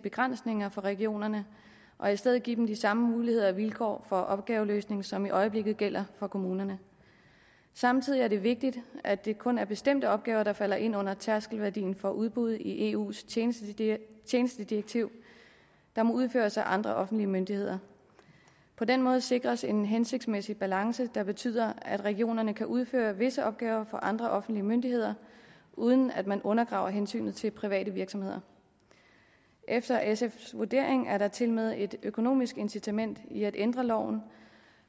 begrænsninger for regionerne og i stedet give dem de samme muligheder og vilkår for opgaveløsning som i øjeblikket gælder for kommunerne samtidig er det vigtigt at det kun er bestemte opgaver der falder ind under tærskelværdien for udbud i eus tjenestedirektiv tjenestedirektiv der må udføres af andre offentlige myndigheder på den måde sikres en hensigtsmæssig balance der betyder at regionerne kan udføre visse opgaver for andre offentlige myndigheder uden at man undergraver hensynet til private virksomheder efter sfs vurdering er der tilmed et økonomisk incitament i at ændre loven